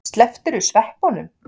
Slepptirðu sveppunum?